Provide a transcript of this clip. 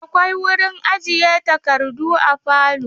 Akwai wurin ajiye takardu a falo.